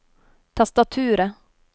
tastaturet